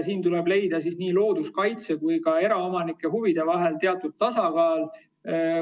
Siin tuleb leida looduskaitse ja eraomanike huvide vahel teatud tasakaal.